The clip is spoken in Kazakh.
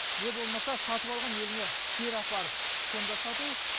не болмаса сатып алған еліне кері апарып сонда сату